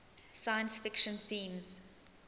science fiction themes